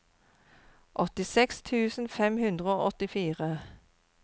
åttiseks tusen fem hundre og åttifire